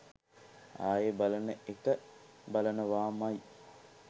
ආයේ බලන එක බලනවාමයි.